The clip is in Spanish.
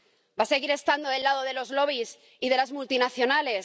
¿Va a seguir estando del lado de los lobbies y de las multinacionales?